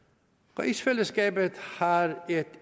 rigsfællesskabet har et